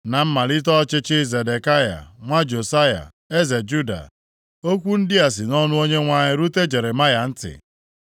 Na mmalite ọchịchị Zedekaya, nwa Josaya eze Juda, okwu ndị a si nʼọnụ Onyenwe anyị rute Jeremaya ntị.